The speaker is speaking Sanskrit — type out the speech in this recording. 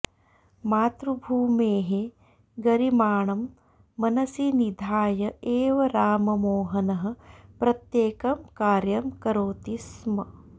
मातृभूमेः गरिमाणं मनसि निधाय एव राममोहनः प्रत्येकं कार्यं करोति स्म